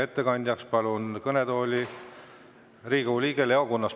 Ettekandjaks palun kõnetooli Riigikogu liikme Leo Kunnase.